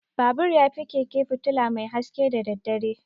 Babur yafi keke fitula mai haske da daddare.